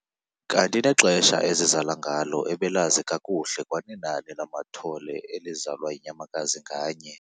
Kanti nexesha ezizala ngalo ebelazi kakuhle kwanenani lamathole elizalwa yinyamakazi nganye.